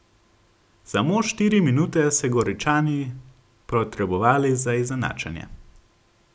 Samo štiri minute se Goričani potrebovali za izenačenje.